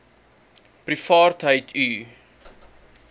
privaatheidu